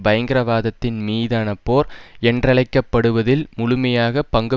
பயங்கரவாதத்தின் மீதான போர் என்றழைக்க படுவதில் முழுமையாக பஙகு